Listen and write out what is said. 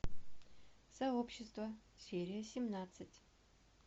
сообщество серия семнадцать